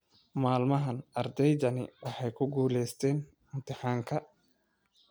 Maalmahan ardaydani waxay ku guulaystaan imtixaankaa